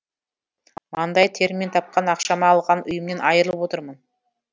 маңдай теріммен тапқан ақшама алған үйімнен айырылып отырмын